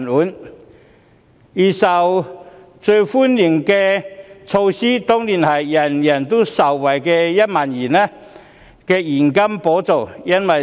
此外，預算案中最受歡迎的措施當然是人人受惠的現金1萬元補助。